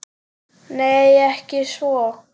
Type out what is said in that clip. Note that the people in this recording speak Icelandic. Nei, ekki svo.